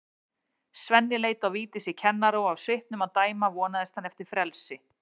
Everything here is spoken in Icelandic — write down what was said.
Svenni leit á Vigdísi kennara og af svipnum að dæma vonaðist hann eftir frelsi.